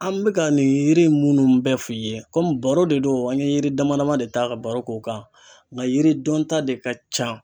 An bɛ ka nin yiri munnu bɛɛ f'i ye komi baro de do an ye yiri dama dama de ta ka baro k'o kan, nka yiri dɔn ta de ka ca.